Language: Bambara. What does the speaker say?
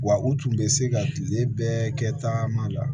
Wa u tun bɛ se ka tile bɛɛ kɛ taama la